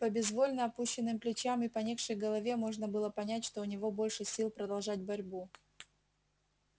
по безвольно опущенным плечам и поникшей голове можно было понять что у него больше сил продолжать борьбу